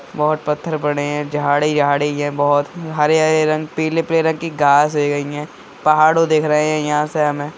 बोहोत पत्थर पड़े हैं। झाड़ी-झाड़ी हैं बोहोत हरे-हरे रंग पीले-पीले रंग की घांस है अहयान। पहाड़ों देख रहे हैं यहाँ से हमें।